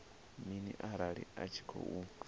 mini arali a tshi khou